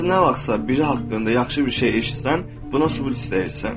Ancaq nə vaxtsa biri haqqında yaxşı bir şey eşitsən, buna sübut istəyirsən.